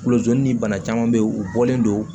Kulojoli ni bana caman bɛ yen u bɔlen don